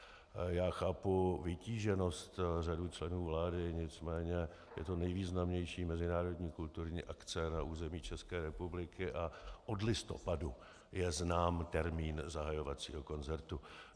Já chápu vytíženost řady členů vlády, nicméně je to nejvýznamnější mezinárodní kulturní akce na území České republiky a od listopadu je znám termín zahajovacího koncertu.